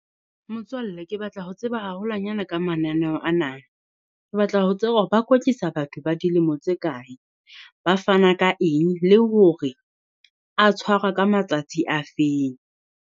Motswalle ke batla ho tseba haholwanyane ka mananeho ana, ke batla ho tseba hore ba kwetlisa batho ba dilemo tse kae, ba fana ka eng le hore a tshwarwa ka matsatsi a feng?